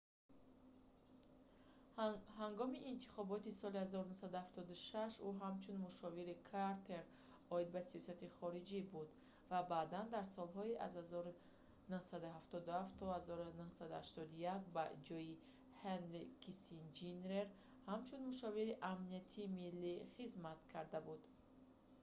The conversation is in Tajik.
ҳангоми интихоботи соли 1976 ӯ ҳамчун мушовири картер оид ба сиёсати хориҷӣ буд ва баъдан дар солҳои аз 1977 то 1981 ба ҷойи ҳенри киссинҷер ҳамчун мушовири амнияти миллӣ nsa хизмат карда буд